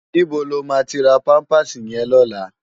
Nibó ló ma ti rá pàmpásí yèn lòlá?